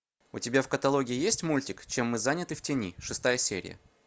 у тебя в каталоге есть мультик чем мы заняты в тени шестая серия